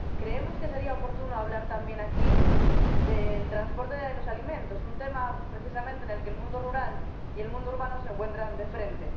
Creemos que sería oportuno hablar también aquí del transporte de los alimentos, un tema precisamente en el que el mundo rural y el mundo urbano se encuentran de frente